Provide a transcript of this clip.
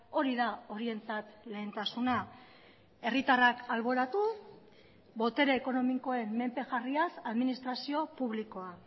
hori da horientzat lehentasuna herritarrak alboratu botere ekonomikoen menpe jarriaz administrazio publikoa